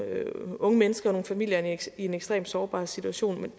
unge mennesker og nogle familier i en ekstremt sårbar situation med